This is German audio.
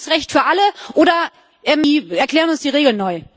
Gleiches Recht für alle, oder Sie erklären uns die Regeln neu!